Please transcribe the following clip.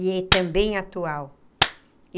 E também atual.